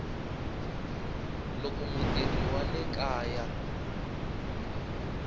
loko mutirhi wa le kaya